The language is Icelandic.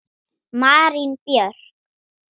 Marín Björk.